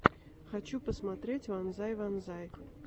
хочу посмотреть вонзай вонзай